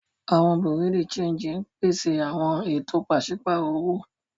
Awọn Bureau-de-Chanjí ǹpéṣè awọn ètò pàṣipárọ̀ owo